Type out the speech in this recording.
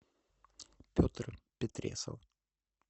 петр петресов